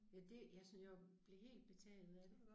Ja det ja sådan jeg blev helt betaget af det